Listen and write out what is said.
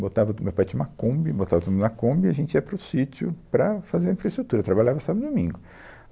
Botava, o meu pai tinha uma Kombi, botava tudo na Kombi e a gente ia para o sítio para fazer infraestrutura, trabalhava sábado e domingo.